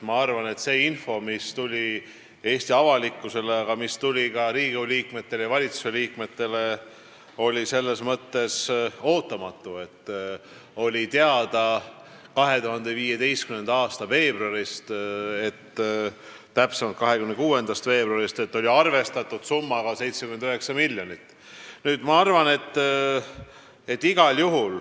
Ma arvan, et see info, mis tuli Eesti avalikkusele, aga ka Riigikogu ja valitsuse liikmetele, oli ootamatu, sest 2015. aasta veebruarist, täpsemalt 26. veebruarist oli teada, et arvestuslik summa on 79 miljonit eurot.